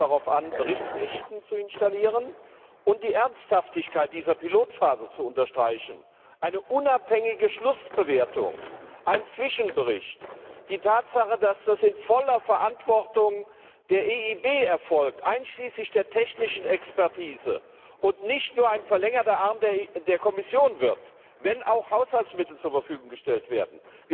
Uns kam es darauf an, Berichtspflichten zu installieren und die Ernsthaftigkeit dieser Pilotphase zu unterstreichen eine unabhängige Schlussbewertung, ein Zwischenbericht, die Tatsache, dass das in voller Verantwortung der EIB erfolgt, einschließlich der technischen Expertise, und nicht nur einen verlängerten Arm der Kommission darstellt, wenn auch Haushaltsmittel zur Verfügung gestellt werden.